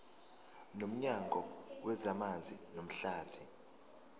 nomnyango wezamanzi namahlathi